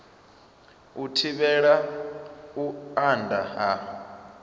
u thivhela u anda ha